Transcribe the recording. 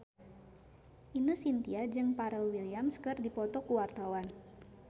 Ine Shintya jeung Pharrell Williams keur dipoto ku wartawan